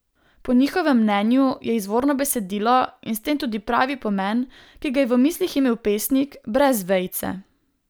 Po njihovem mnenju je izvorno besedilo in s tem tudi pravi pomen, ki ga je v mislih imel pesnik, brez vejice.